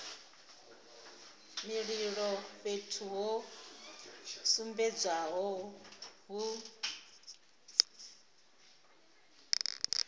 mililo fhethu ho sumbedzwaho hu